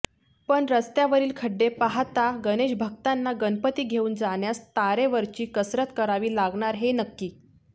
पण रस्त्यावरील खड्डे पाहता गणेशभक्तांना गणपती घेऊन जाण्यास तारेवरची कसरत करावी लागणार हे नक्की